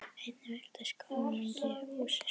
Einnig virtist konungi húsið snúast.